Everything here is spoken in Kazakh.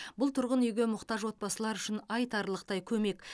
бұл тұрғын үйге мұқтаж отбасылар үшін айтарлықтай көмек